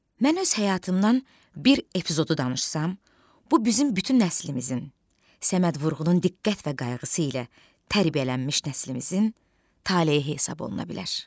Mən öz həyatımdan bir epizodu danışsam, bu bizim bütün nəslimizin, Səməd Vurğunun diqqət və qayğısı ilə tərbiyələnmiş nəslimizin taleyi hesaba oluna bilər.